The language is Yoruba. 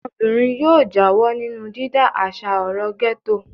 Ọmọbìnrin yóò yóò jáwọ́ nínú dídá àṣà ọ̀rọ̀ gẹ́tò.